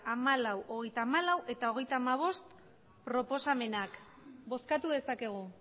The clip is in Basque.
hamalau hogeita hamalau hogeita hamabost proposamenak bozkatu dezakegu